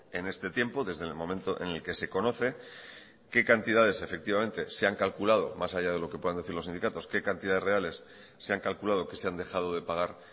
en este tiempo desde el momento en el que se conoce qué cantidades se han calculado más allá de lo que puedan decir los sindicatos qué cantidades reales se han calculado que se han dejado de pagar